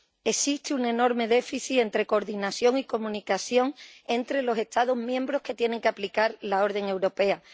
existe un enorme déficit entre coordinación y comunicación entre los Estados miembros que tienen que aplicar la orden europea.